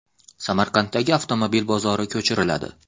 Samarqanddagi avtomobil bozori ko‘chiriladi.